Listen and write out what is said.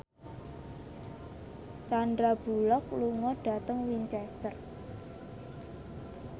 Sandar Bullock lunga dhateng Winchester